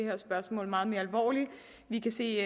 her spørgsmål meget mere alvorligt vi kan se